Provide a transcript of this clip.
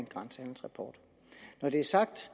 grænsehandelsrapport når det er sagt